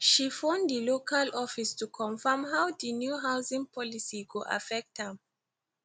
she phone dil local office to confirm how di new housing policy go affect am